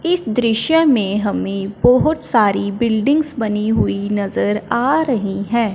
इस दृश्य में हमें बहोत सारी बिल्डिंग्स बनी हुई नजर आ रही है।